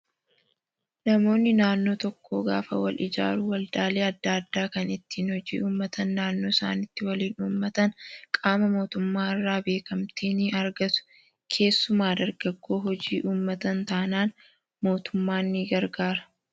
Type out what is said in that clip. Namoonni naannoo tokkoo gaafa wal ijaaruun waldaalee adda addaa kan ittiin hojii uummatan naannoo isaaniitti waliin uummatan qaama mootummaa irraa beekamtii ni argatu. Keessumaa dargaggoo hojii uummatan taanaan mootummaan ni gargaara.